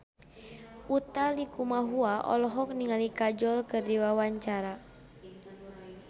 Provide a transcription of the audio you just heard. Utha Likumahua olohok ningali Kajol keur diwawancara